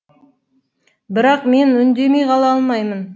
бірақ мен үндемей қала алмаймын